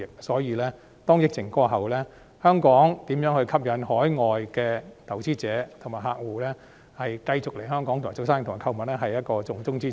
所以，疫情過後，香港如何吸引海外投資者和客戶繼續來港做生意和購物是重中之重。